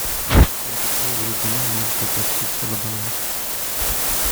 на какую глубину может опуститься водолаз